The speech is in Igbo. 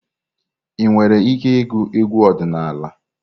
Ị nwere ike ịgụ egwu ọdịnala?